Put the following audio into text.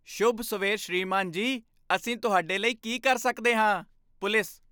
ਸ਼ੁਭ ਸਵੇਰ ਸ੍ਰੀਮਾਨ ਜੀ, ਅਸੀਂ ਤੁਹਾਡੇ ਲਈ ਕੀ ਕਰ ਸਕਦੇ ਹਾਂ,? ਪੁਲਿਸ